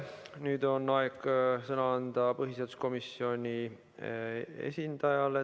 Nüüd on aeg sõna anda põhiseaduskomisjoni esindajale.